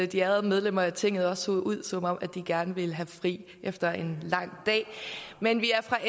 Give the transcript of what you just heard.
de ærede medlemmer af tinget også ser ud som om de gerne vil have fri efter en lang dag men vi er fra